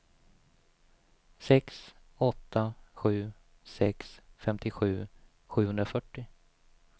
sex åtta sju sex femtiosju sjuhundrafyrtio